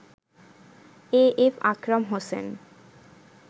AF Akram Hossain